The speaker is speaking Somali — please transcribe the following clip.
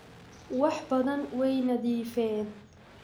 Waxbadaan Wayniidafeen.